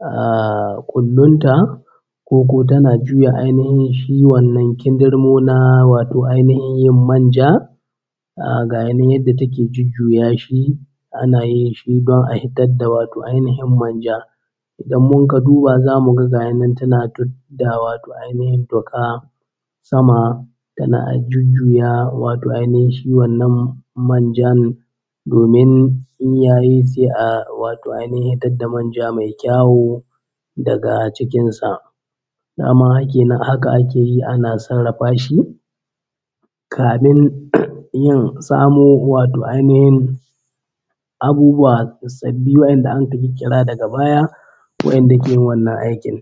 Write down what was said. ahh ƙullun ta koko tana juya ainihin shi wannan kindirmo na wato ainihin yin manja. Ahh gaya nan yadda take jujjuya shi ana yin shi don a hitar da wato ainihin manja. Idan mun ka duba za mu ga gayi nan tana tudda wato ainihin tuƙa sama tana jujjuya wato ainihin shi wannan manjan domin in ya yi sai a wato ainihin hitad da manja mai kyawu daga cikin sa. Daman haka ake yi ana sarrafa shi kamin yin samo wato ainihin abubuwa sabbi wanda anka ƙirƙira daga baya, wa’enda ke yin wannan aikin.